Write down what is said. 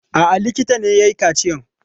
A'a, likita ne ya yi kaciyan.